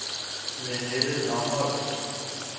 Lenette Lomholt